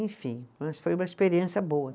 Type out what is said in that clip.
Enfim, mas foi uma experiência boa.